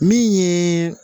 Min ye